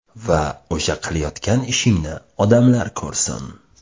Va o‘sha qilayotgan ishingni odamlar ko‘rsin.